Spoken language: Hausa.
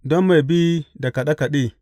Don mai bi da kaɗe kaɗe.